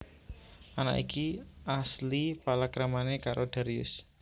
Anak iki asil palakramané karo Darius